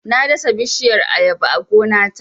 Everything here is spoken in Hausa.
Na dasa bishiyar Ayaba a gona ta